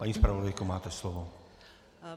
Paní zpravodajko, máte slovo.